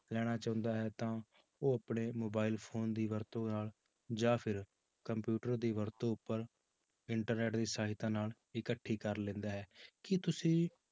ਲੈਣਾ ਚਾਹੁੰਦਾ ਹੈ ਤਾਂ ਉਹ ਆਪਣੇ mobile phone ਦੀ ਵਰਤੋਂ ਨਾਲ ਜਾਂ ਫਿਰ computer ਦੀ ਵਰਤੋਂ ਉੱਪਰ internet ਦੀ ਸਹਾਇਤਾ ਨਾਲ ਇਕੱਠੀ ਕਰ ਲੈਂਦਾ ਹੈ, ਕੀ ਤੁਸੀਂ